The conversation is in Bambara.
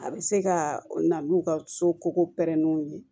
A bɛ se ka na n'u ka so koko prɛnnenw ye